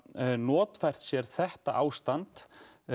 notfært sér þetta ástand